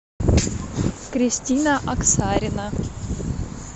кристина оксарина